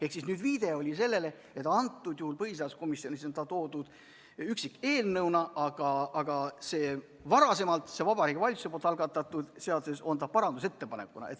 Ehk viide oli sellele, et antud juhul põhiseaduskomisjonis on see teema toodud menetlusse üksikeelnõuna, aga selles varasemas, Vabariigi Valitsuse algatatud seaduses on ta sees parandusettepanekuna.